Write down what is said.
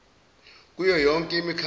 kuyo yonke imikhakha